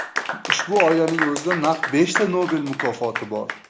Ushbu oilaning o‘zida naq beshta Nobel mukofoti bor!